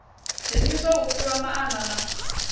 dzheniswa u fhiwa maana na